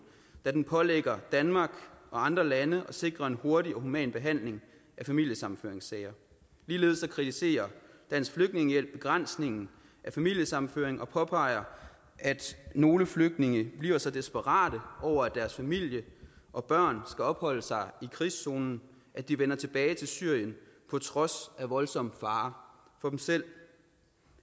da den pålægger danmark og andre lande at sikre en hurtig og human behandling af familiesammenføringssager ligeledes kritiserer dansk flygtningehjælp begrænsningen af familiesammenføring og påpeger at nogle flygtninge bliver så desperate over at deres familie og børn skal opholde sig i krigszonen at de vender tilbage til syrien på trods af voldsom fare for dem selv